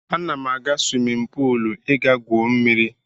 Ana m aga swimin puul ị gaa gwuo mmiri.